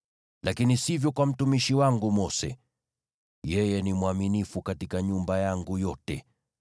Lakini sivyo kwa mtumishi wangu Mose; yeye ni mwaminifu katika nyumba yangu yote.